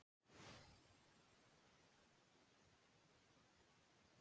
Síðan lagði hann aftur af stað til að fullvissa sig um að þeim væri óhætt.